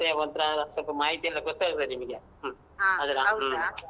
ಅದರ ಸ್ವಲ್ಪ ಮಾಹಿತಿಎಲ್ಲ ಗೋತ್ತಾಗ್ಬೇಕ್ನಿಮಿಗೆ ಹ್ಮ್